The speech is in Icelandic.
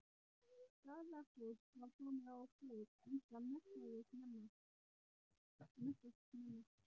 Staðarfólk var komið á kreik enda messað snemma.